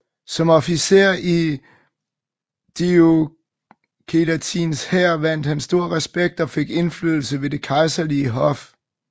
Som officer i Diocletians hær vandt han stor respekt og fik indflydelse ved det kejserlige hof